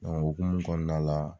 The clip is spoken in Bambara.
Donke o hukumu kɔnanala